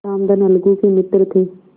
रामधन अलगू के मित्र थे